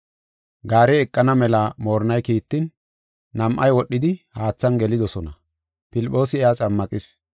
Gaarey eqana mela moorinnay kiittin, nam7ay wodhidi haathan gelidosona; Filphoosi iya xammaqis.